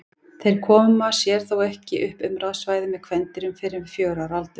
Þeir koma sér þó ekki upp umráðasvæði með kvendýrum fyrr en við fjögurra ára aldur.